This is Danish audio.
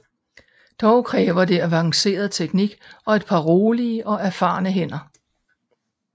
Dog kræver det advanceret teknik og et par rolige og erfarne hænder